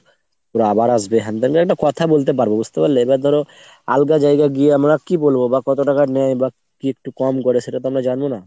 ওরা আবার আসবে, হ্যান ত্যান একটা কথা বলতে পারবো বুঝতে পারলে ? এবার ধরো আলগা জায়গা গিয়ে আমরা কি বলবো বা কত টাকা নেয় বা কি একটু কম করে সেটা তো জানবো না।